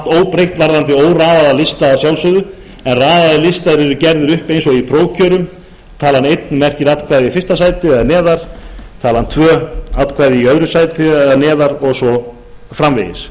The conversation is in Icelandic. óbreytt varðandi óraðaða lista að sjálfsögðu en raðaðir listar eru gerðir upp eins og í prófkjörum talan einn merkir atkvæði í fyrsta sæti eða neðar talan tvö atkvæði í öðru sæti eða neðar og svo framvegis